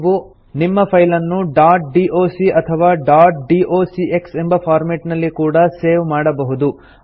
ನೀವು ನಿಮ್ಮ ಫೈಲನ್ನು ಡಾಟ್ ಡಾಕ್ ಅಥವಾ ಡಾಟ್ ಡಾಕ್ಸ್ ಎಂಬ ಫಾರ್ಮೆಟ್ ನಲ್ಲಿ ಕೂಡಾ ಸೇವ್ ಮಾಡಬಹುದು